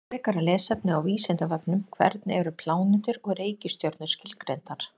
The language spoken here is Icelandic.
Frekara lesefni á Vísindavefnum: Hvernig eru plánetur og reikistjörnur skilgreindar?